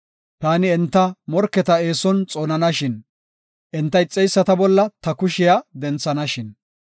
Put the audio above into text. Taani enta morketa eeson xoonanashin; enta ixeyisata bolla ta kushiya denthanashin.